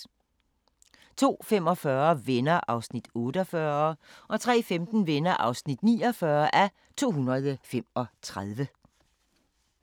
02:45: Venner (48:235) 03:15: Venner (49:235)